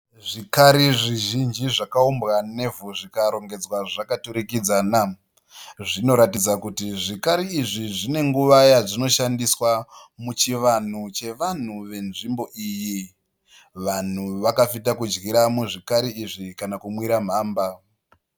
Zvikari zvizhinji zvakaumbwa nevhu zvikarongedzwa zvakaturikidzana. Zvinoratidza kuti zvikari izvi zvine nguva yazvonoshandiswa muchivanhu chevanhu wenzvimbo iyi. Vanhu vakafita kudyira muzvikari izvi kana kunwira mhamba.